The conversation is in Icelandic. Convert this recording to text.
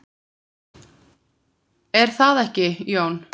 Er það ekki, Jón?